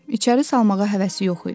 İçəri salmağa həvəsi yox idi.